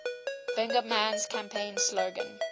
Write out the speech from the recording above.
bingaman's campaign slogan